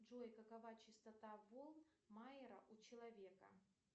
джой какова частота волн майера у человека